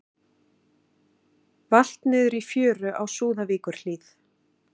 Valt niður í fjöru á Súðavíkurhlíð